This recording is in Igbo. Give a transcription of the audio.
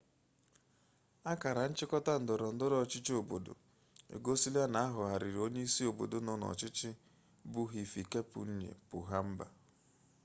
akara nchịkọta ndọrọndọrọ ọchịchị obodo egosila na ahọrọgharịrị onye isi obodo nọ n'ọchịchị bụ hifikepunye pohamba